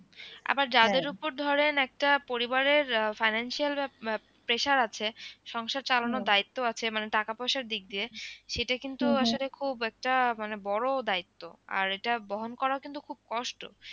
আবার যাদের উপর ধরেন একটা পরিবারের আহ financial pressure আছে সংসার চালানো দায়িত্ব আছে মানে টাকা পয়সার দিক দিয়ে সেটা কিন্তু আসলে খুব একটা মানে বড় দায়িত্ব আরে এটা বহন করা ও কিন্তু খুব কষ্ট।